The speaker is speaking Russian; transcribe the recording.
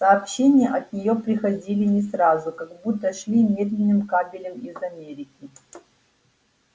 сообщения от неё приходили не сразу как будто шли медным кабелем из америки